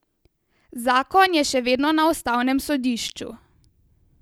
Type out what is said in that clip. Zakon je še vedno na ustavnem sodišču.